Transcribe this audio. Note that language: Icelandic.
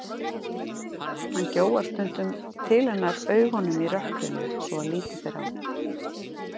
Hann gjóar stundum til hennar augunum í rökkrinu svo að lítið ber á.